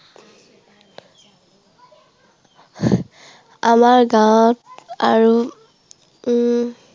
আমাৰ গাঁৱত আৰু উম